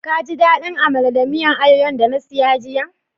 Ka ji dadin Amala da miyan ayoyo'n da na siya jiya?